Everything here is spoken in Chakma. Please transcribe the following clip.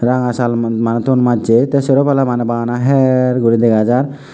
ranga shal maneh ton macche teh sero pala maneh bana heer gori dega jar.